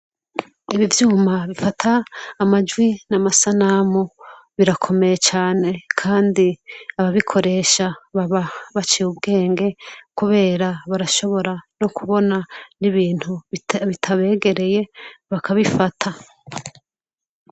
Ibi vyuma bifata amajwi n'amasanamu birakomeye cane kandi ababikoresha baba baciye ubwenge kubera barashobora no kubona n'ibintu bitabegereye bakabifata.